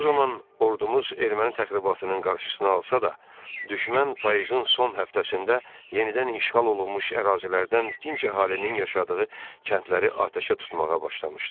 O zaman ordumuz erməni təxribatının qarşısını alsa da, düşmən payızın son həftəsində yenidən işğal olunmuş ərazilərdən dinc əhalinin yaşadığı kəndləri atəşə tutmağa başlamışdı.